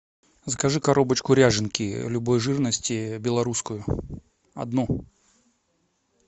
закажи коробочку ряженки любой жирности белорусскую одну